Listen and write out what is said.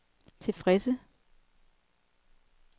tilfredse